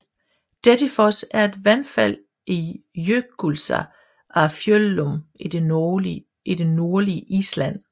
Dettifoss er et vandfald i Jökulsá á Fjöllum i det nordlige Island